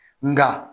Nka